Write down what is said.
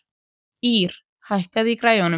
Ýrr, hækkaðu í græjunum.